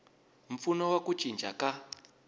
mpfuno wa ku cinca ka